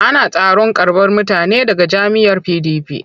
Ana taron karɓar mutane daga jam'iyyar PDP.